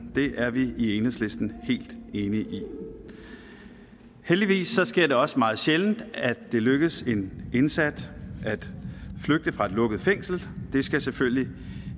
det er vi i enhedslisten helt enige i heldigvis sker det også meget sjældent at det lykkes en indsat at flygte fra et lukket fængsel det skal selvfølgelig